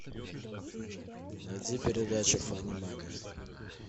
найди передачу фанимани